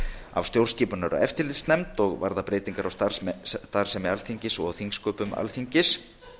af stjórnskipunar og eftirlitsnefnd og varða breytingar á starfsemi alþingis og á þingsköpum alþingis